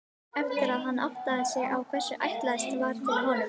Eftir að hann áttaði sig á hvers ætlast var til af honum.